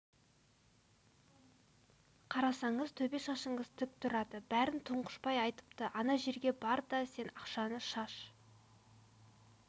қарасаңыз төбе шашыңыз тік тұрады бәрін тұңғышбай айтыпты ана жерге бар да сен ақшаны шаш